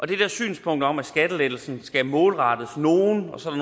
det der synspunkt om at skattelettelsen skal målrettes nogle og så er